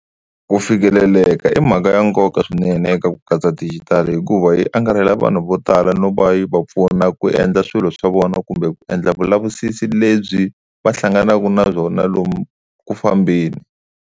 Ku fikeleleka i mhaka ya nkoka swinene eka ku katsa digital hikuva yi angarhela vanhu vo tala no va yi va pfuna ku endla swilo swa vona kumbe ku endla vulavisisi lebyi va hlanganaka na byona lomu ku fambeni.